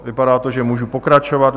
Vypadá to, že můžu pokračovat.